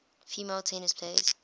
female tennis players